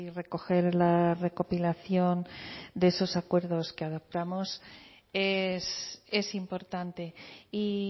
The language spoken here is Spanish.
recoger la recopilación de esos acuerdos que adoptamos es importante y